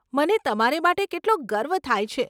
મને તમારે માટે કેટલો ગર્વ થાય છે?